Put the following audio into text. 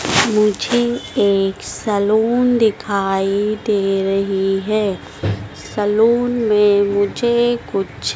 मुझे एक सैलून दिखाई दे रही है सैलून में मुझे कुछ --